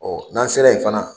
n'an sera ye fana